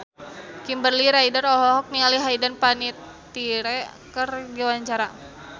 Kimberly Ryder olohok ningali Hayden Panettiere keur diwawancara